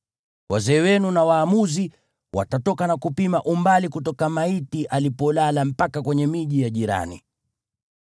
wazee wenu na waamuzi watatoka na kupima umbali kutoka maiti alipolala mpaka kwenye miji ya jirani.